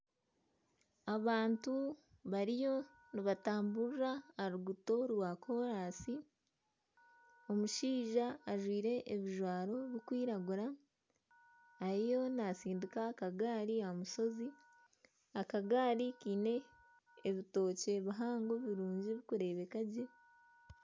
Abantu bariyo nibatamburira aha ruguuto rwa koransi omushaija ajwaire ebijwaro birikwiragura ariyo natsindiika akagaari aha mushozi akagaari kiine ebitookye bihango birungi birikurebeeka gye.